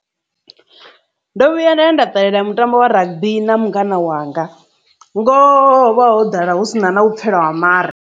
Ndo vhuya nda ya nda ṱalela mutambo wa rugby na mungana wanga, ngoho vha ho ḓala hu si na na u vhupfhela ha mare.